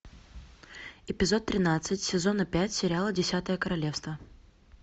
эпизод тринадцать сезона пять сериала десятое королевство